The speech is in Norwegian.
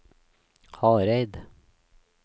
Hareid